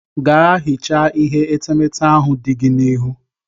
Ga hichaa ihe etemete ahụ nọ gị n'ihu.